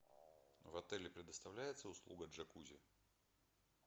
в отеле предоставляется услуга джакузи